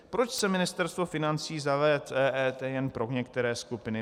Proč chce Ministerstvo financí zavést EET jen pro některé skupiny?